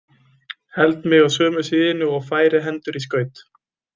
Held mig á sömu síðunni og færi hendur í skaut.